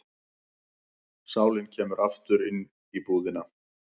Sálin kemur aftur í íbúðina.